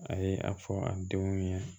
A ye a fɔ a denw ye